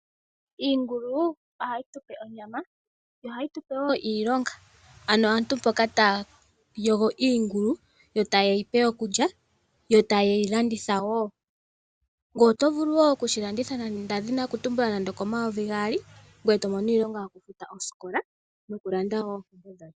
Iingulu ohayi tupe onyama yo ohayi tupe wo iilonga ano aantu mboka taya yogo iingulu yo taye yi pe okulya yo taye yi landitha wo. Ngoye otovulu okushi landitha ndadhini okutumbula nande oko N$2000 ngoye tomono iimaliwa yokufuta osikola nokulanda wo ompumbwe dhoye.